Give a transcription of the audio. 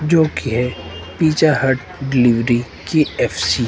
जो की है पिज्जा हट केएफ़सी --